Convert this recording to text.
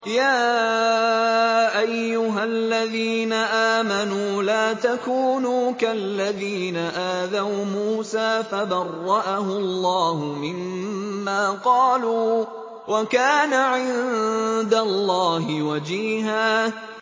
يَا أَيُّهَا الَّذِينَ آمَنُوا لَا تَكُونُوا كَالَّذِينَ آذَوْا مُوسَىٰ فَبَرَّأَهُ اللَّهُ مِمَّا قَالُوا ۚ وَكَانَ عِندَ اللَّهِ وَجِيهًا